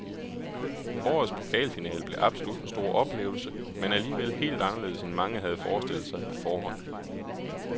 Årets pokalfinale blev absolut en stor oplevelse, men alligevel helt anderledes end mange havde forestillet sig på forhånd.